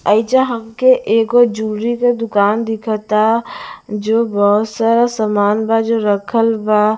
एइजा हमके एगो जुलरी के दुकान दिखता जो बहुत सारा सामान बा जो रखल बा--